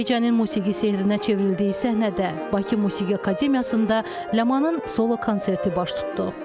Gecənin musiqi sehrinə çevrildiyi səhnədə Bakı Musiqi Akademiyasında Ləmanın solo konserti baş tutdu.